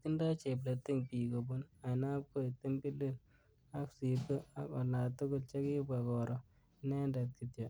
Kitindoi chepleting bik kobun Ainabkoi, timbilil ak psirko ak olatugul chekibwa koro inendet kityo